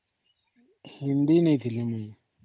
ହିନ୍ଦୀ ନେଇଥିଲି ମୁଇ